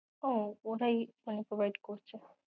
ও, ওটাই তাহলে provide করছে।